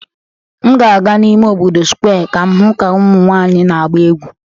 M ga-aga n'ime obodo Square ka m hụ ka ụmụ nwanyị na-agba egwu